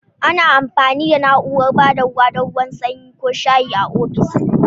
Ana amfani da na'urar ba da ruwa don ruwan sanyi ko shayi a ofis.